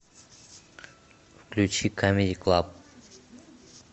включи камеди клаб